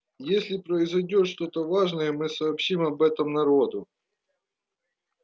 если произойдёт что-то важное мы сообщим об этом народу